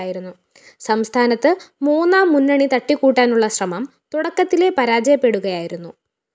സംസ്ഥാനത്ത്‌ മൂന്നാം മുന്നണി തട്ടിക്കൂട്ടാനുള്ള ശ്രമം തുടക്കത്തിലേ പരാജയപ്പെടുകയായിരുന്നു